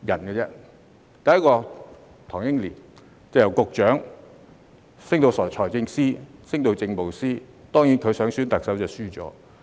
第一位是唐英年，由局長升至財政司司長和政務司司長，當然他還想選特首，但落敗了。